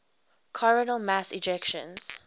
coronal mass ejections